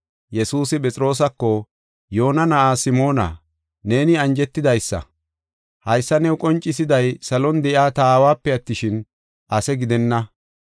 Yesuusi Phexroosako, “Yoona na7aa Simoona, neeni anjetidaysa! Haysa new qoncisiday saluwan de7iya ta aawape attishin, ase gidenna.